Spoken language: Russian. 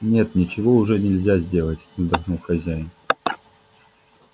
нет ничего уже нельзя сделать вздохнул хозяин